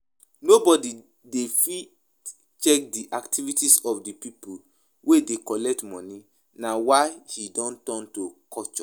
Nobody dey fit check di activities of di pipo wey dey collect money na why e don turn to culture